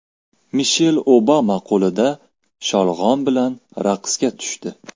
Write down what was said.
Mishel Obama qo‘lida sholg‘om bilan raqsga tushdi .